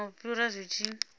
kana u fhira zwi tshi